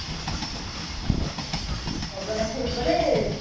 ଜଗନ୍ନାଥ ରୂପରେ